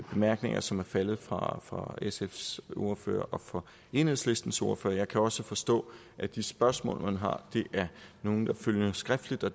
bemærkninger som er faldet fra fra sfs ordfører og fra enhedslistens ordfører jeg kan også forstå at de spørgsmål man har er nogle der følger skriftligt og